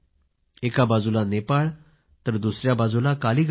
त्याबाजूला नेपाळ या बाजूला कालीगंगा